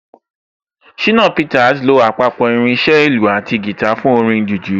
Ṣìnà Peter lo àpapọ̀ irin iṣẹ́ ìlù àti guitar fún orin jùjú